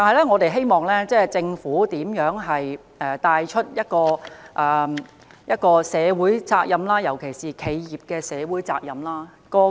我希望政府帶頭實踐社會責任，尤其是企業社會責任。